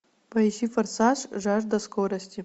поищи форсаж жажда скорости